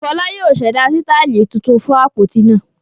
Fọlá yóò ṣẹ̀dá sítáálì tuntun fún àpótí náà